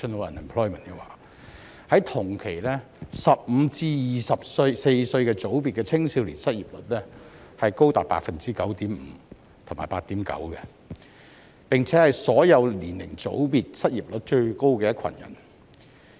不過，同期15歲至24歲組別的青少年失業率則高達 9.5% 及 8.9%， 並且是所有年齡組別中失業率最高的一群人。